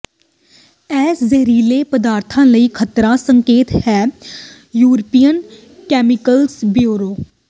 ਇਹ ਜ਼ਹਿਰੀਲੇ ਪਦਾਰਥਾਂ ਲਈ ਖਤਰਾ ਸੰਕੇਤ ਹੈ ਯੂਰਪੀਨ ਕੈਮੀਕਲਜ਼ ਬਿਊਰੋ